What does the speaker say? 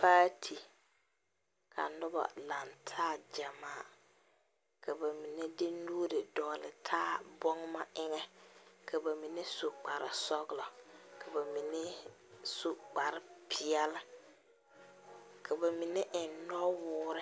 Paati ka noba lantaa gyamaa ka ba mine de nuuri dɔgle taa bɔgema eŋɛ ka ba mine su kparre sɔglɔ ka ba mine su kparre peɛle ka ba mine eŋ nɔwɔɔre.